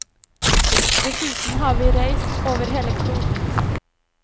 Dessuten har vi reist over hele kloden.